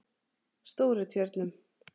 Stórutjörnum